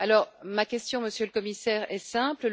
Alors ma question, Monsieur le Commissaire, est simple.